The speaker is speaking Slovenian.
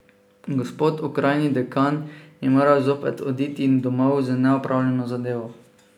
Gospod okrajni dekan je moral zopet oditi domov z neopravljeno zadevo.